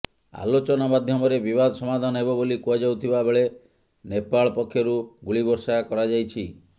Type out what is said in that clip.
ଆଲୋଚନା ମାଧ୍ୟମରେ ବିବାଦ ସମାଧାନ ହେବ ବୋଲି କୁହାଯାଉଥିବା ବେଳେ ନେପାଳ ପକ୍ଷରୁ ଗୁଳି ବର୍ଷା କରାଯାଇଛି